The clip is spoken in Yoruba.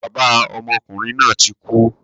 Bàbá ọmọkùnrin náà tí kú